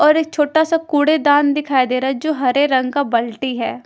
और एक छोटा सा कूड़ेदान दिखाई दे रहा है जो हरे रंग का बल्टी है ।